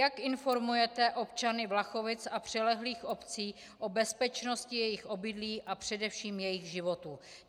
Jak informujete občany Vlachovic a přilehlých obcí o bezpečnosti jejich obydlí a především jejich životů?